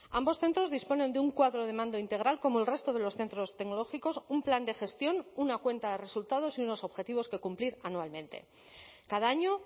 ambos centros disponen de un cuadro de mando integral como el resto de los centros tecnológicos un plan de gestión una cuenta de resultados y unos objetivos que cumplir anualmente cada año